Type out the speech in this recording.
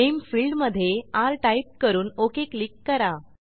name फिल्डमधे र type करून ओक क्लिक करा